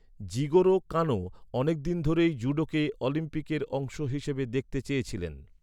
Jigoro Kano অনেকদিন ধরেই জুডোকে অলিম্পিকের অংশ হিসেবে দেখতে চেয়েছিলেন।